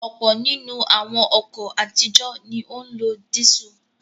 Ọ̀pọ̀ nínú àwọn ọkọ̀ àtijọ́ ni ó ń lo dísù.